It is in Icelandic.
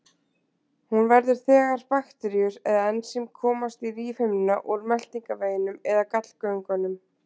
Hún verður þegar bakteríur eða ensím komast í lífhimnuna úr meltingarveginum eða gallgöngunum.